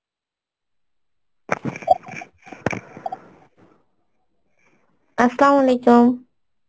Arbi